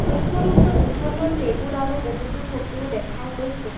কক্ষ্যৰুম টোত দুখনমান টেবুল আৰু বহুতো চকীও দেখা গৈছে।